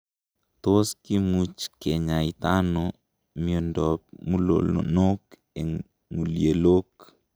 Tos kimuch kinyaita ono miondab mulonok en ng'ulyelok?